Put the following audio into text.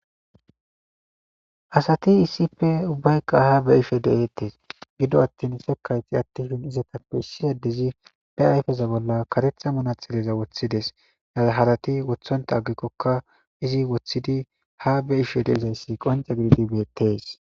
asati issippe ubbayka ha beishe deettes gido attin sekayti attihin izetappe issiyadezi be ayfeza bolla karetha munatxileza woththides a harati wothonta aggikkokka izi woththidi ha beishe deizayssi qonce gididi beettees